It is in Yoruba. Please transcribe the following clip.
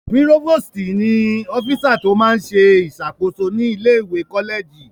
Púrófòstì ní ọ́físà tó máa n ṣe ìṣàkóso ní ilé-ìwé kọ́lẹ̀jì